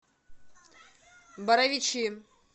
боровичи